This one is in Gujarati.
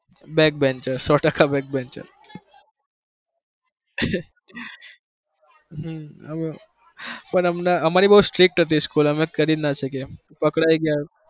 back banchers સો ટકા back banchers હમ પણ અમને અમારી બવ strict હતી school અમે કરી જ ના શકીએ પકડાઈ જાય.